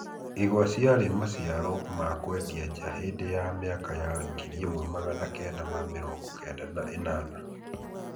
Igwa ciari maciaro ma kũendia nja hĩndĩ ya mĩaka ya ngiri ĩmwe magana kenda ma mĩrongo kenda na mĩrongo ĩnana,